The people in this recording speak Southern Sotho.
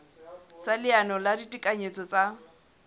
sa leano la ditekanyetso tsa